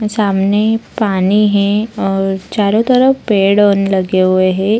सामने पानी है और चारों तरफ पेड़ लगे हुए हैं।